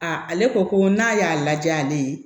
A ale ko ko n'a y'a lajɛ ale ye